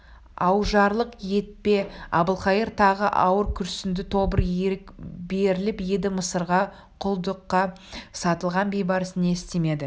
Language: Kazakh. аужарлық етпе әбілқайыр тағы ауыр күрсінді тобыр ерік беріліп еді мысырға құлдыққа сатылған бейбарыс не істемеді